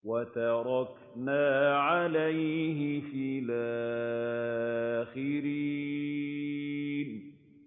وَتَرَكْنَا عَلَيْهِ فِي الْآخِرِينَ